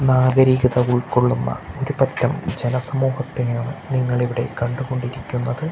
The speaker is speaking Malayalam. നാഗരികത ഉൾക്കൊള്ളുന്ന ഒരുപറ്റം ജനസമൂഹത്തെയാണ് നിങ്ങളിവിടെ കണ്ടുകൊണ്ടിരിക്കുന്നത്.